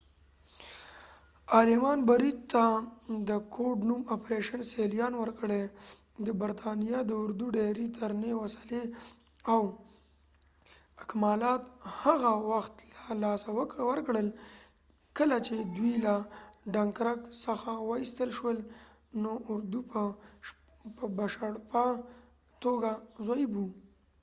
آلمان بريد ته د کوډ-نوم ” آپریشن سیلیان” ورکړی- د برتانیا د اردو ډیری درنې وسلې او اکمالات هغه وخت له لاسه ورکړل، کله چې دوئ له ډنکرک څخه وایستل شو، نو اردو په بشپړه توګه ضعیف و۔